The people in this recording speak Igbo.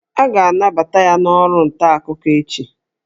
A ga-anabata ya n'ọrụ ntaakụkọ echi